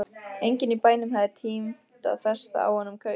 Enginn í bænum hafði tímt að festa á honum kaup.